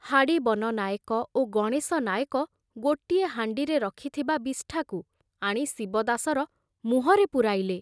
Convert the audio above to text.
ହାଡ଼ି ବନ ନାଏକ ଓ ଗଣେଶ ନାଏକ ଗୋଟିଏ ହାଣ୍ଡିରେ ରଖିଥିବା ବିଷ୍ଠାକୁ ଆଣି ଶିବଦାସର ମୁହଁରେ ପୂରାଇଲେ।